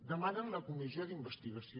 demanen la comissió d’investigació